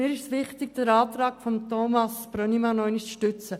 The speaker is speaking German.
Mir ist es wichtig, den Antrag Brönnimann in diesem Punkt noch einmal zu stützen.